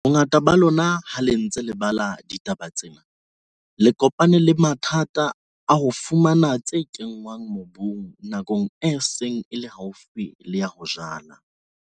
Bongata ba lona ha le ntse le bala ditaba tsena le kopane le mathata a ho fumana tse kenngwang mobung nakong e seng e le haufi le ya ho jala.